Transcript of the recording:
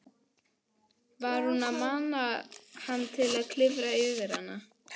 Var hún að mana hann til að klifra yfir hana?